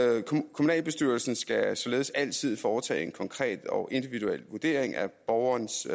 kommunalbestyrelsen skal således altid foretage en konkret og individuel vurdering af borgerens